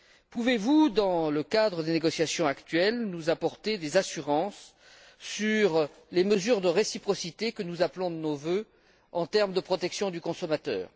Pouvez vous, dans le cadre des négociations actuelles, nous apporter des garanties sur les mesures de réciprocité, que nous appelons de nos vœux, en termes de protection du consommateur?